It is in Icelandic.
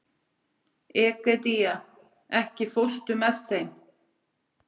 Egedía, ekki fórstu með þeim?